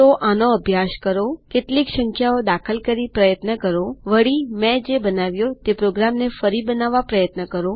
તો આનો અભ્યાસ કરોકેટલીક સંખ્યાઓ દાખલ કરી પ્રયત્ન કરોવળીમેં જે બનાવ્યો તે પ્રોગ્રામને ફરી બનાવવા પ્રયત્ન કરો